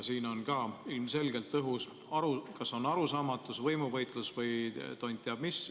Siin on ilmselgelt õhus kas arusaamatus, võimuvõitlus või tont teab mis.